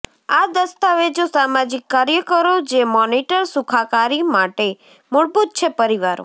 આ દસ્તાવેજો સામાજિક કાર્યકરો જે મોનીટર સુખાકારી માટે મૂળભૂત છે પરિવારો